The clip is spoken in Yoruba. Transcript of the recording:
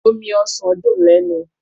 Omi ọsàn dùn lẹ́nu.